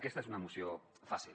aquesta és una moció fàcil